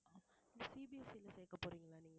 CBSE ல சேர்க்க போறீங்களா நீங்க